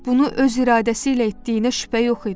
Bunu öz iradəsi ilə etdiyinə şübhə yox idi.